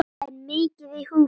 Þar er mikið í húfi.